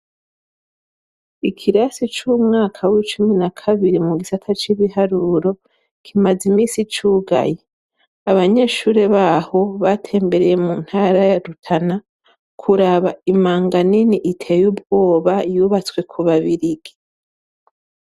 Ikirasi c'umwaka w'icumi na kabiri mu gisata c'ibiharuro, kimaze iminsi cugaye. Abanyeshure baho batembereye mu ntara ya Rutana kuraba imanga nini iteye ubwoba yubatswe ku Babirigi.